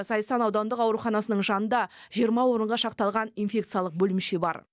зайсан аудандық ауруханасының жанында жиырма орынға шақталған инфекциялық бөлімше бар